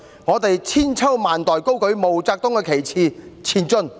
我們千秋萬代高舉毛澤東旗幟，前進！